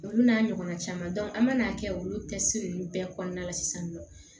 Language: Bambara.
Olu n'a ɲɔgɔnna caman an man n'a kɛ olu kɛsi ninnu bɛɛ kɔnɔna la sisan nɔ